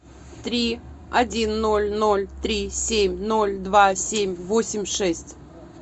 три один ноль ноль три семь ноль два семь восемь шесть